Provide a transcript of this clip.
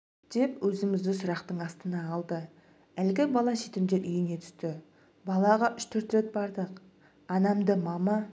деп өзімізді сұрақтың астына алды әлгі бала жетімдер үйіне түсті балаға үш-төрт рет бардық анамды мама